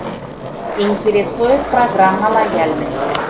интересует программа лояльности